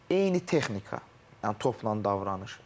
Eyni texnika, yəni topla davranış.